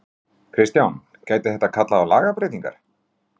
Kristján: Gæti þetta kallað á lagabreytingar?